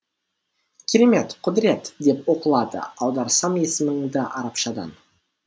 керемет құдырет деп оқылады аударсам есіміңді арапшадан